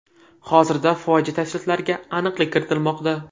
Hozirda fojia tafsilotlariga aniqlik kiritilmoqda.